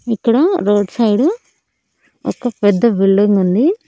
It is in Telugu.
ఇక్కడ రోడ్ సైడ్ ఒక పెద్ద బిల్డింగ్ ఉంది.